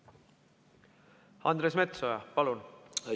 Andres Metsoja, palun!